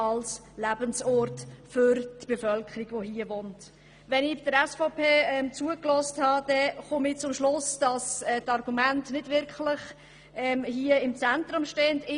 Beim Zuhören des SVP-Votums von Grossrat Freudiger komme ich zum Schluss, dass Argumente hier nicht wirklich im Zentrum stehen.